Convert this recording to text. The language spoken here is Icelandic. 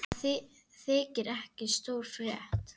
Það þykir ekki stór frétt.